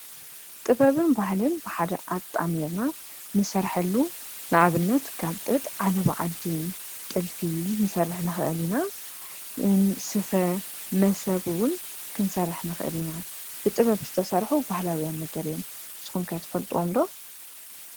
ጥበበን ባህልን ብሓደ ኣጣሜርና ንሰርሐሉ ንኣብነት ከም ጥጥ ዓለባ ዓዲ ጥልፊ ንሰርሕ ንኽአል ኢና፡፡ ስፈ መሶብ ውን ክንሰርሕ ንኽአሊና ብጥበብ ዝተሰርሑ ባህላውያን ነገር እዮም፡፡ ስኹም ከ ትፈልጥዎም ዶ?